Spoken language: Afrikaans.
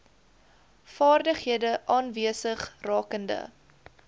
vaardighede aanwesig rakende